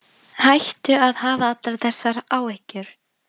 Hættu að hafa allar þessar áhyggjur.